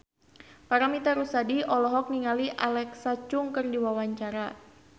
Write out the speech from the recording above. Paramitha Rusady olohok ningali Alexa Chung keur diwawancara